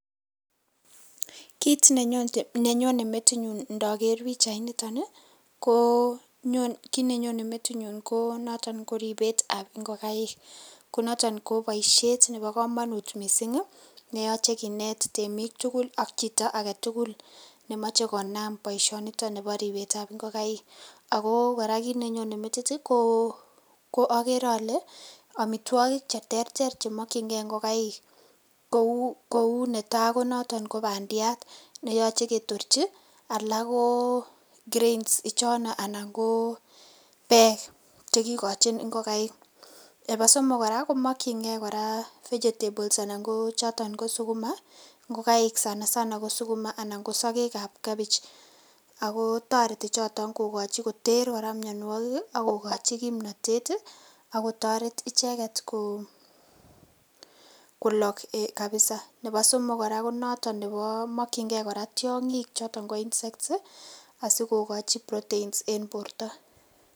Kit nenyone metinyu indoker pichainiton ii ko kit nenyone metinyu ko noton ribetab ingokaik, konoton koboishet nebo komonut missing' ii neyoche kinet twmik tugul ak chito aketugul nemoche konam boisioniton bo ribetab ingokaik, ako koraa kit nenyone metinyu okere ole omitwogik cheterter chemokyingee ingokaik, kou netai konoton kobandiat neyoche ketorji, alak koo grains ichono anan ko bek chekikochin ingokaik, nebo somok koraa komokchingee vegetables anan ko choton ko sukuma ingokaik sana sana anan ko sokekab cabbage, ako toreti choton koraa koter mionuokik ii anan kokochi kimnotet akotoret icheket kolok kabisa, nebo somok koraa konoton mokyingee koraa tiongik choton ko insects ii asikokochi protein en borto.